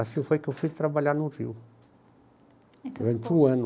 Assim foi que eu fui trabalhar no Rio, durante um ano.